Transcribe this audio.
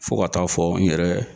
Fo ka taa fɔ n yɛrɛ